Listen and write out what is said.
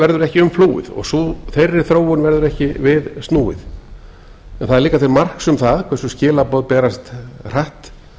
verður ekki umflúið og þeirri þróun verður ekki við snúið en það er líka til marks um það hversu skilaboð berast hratt